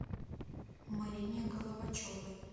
марине головачевой